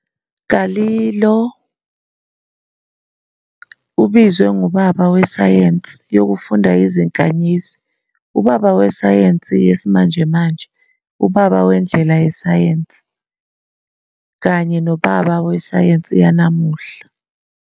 Galileo ubizwe "ngubaba wesayensi yokufunda izinkanyezi", "ubaba wesayensi yesimanjemanje", "ubaba wendlela yesayensi", kanye "nobaba wesayensi yanamuhla".